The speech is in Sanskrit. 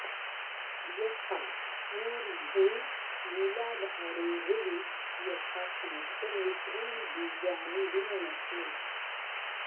यथा मूर्द्ध्नि मूलाधारे हृदि यथाशङ्खेन त्रीणि बीजानि विन्यसेत्